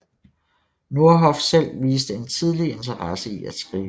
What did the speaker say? Nordhoff selv viste en tidlig interesse i at skrive